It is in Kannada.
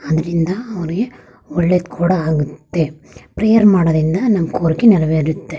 ಅದರಿಂದ ಅವರಿಗೆ ಒಳ್ಳೇದು ಕೂಡ ಆಗುತ್ತೆ ಪ್ರೇಯರ್ ಮಾಡೋದ್ರಿಂದ ನಮ್ಮ ಕೋರಿಕೆ ನೆರವೇರುತ್ತೆ.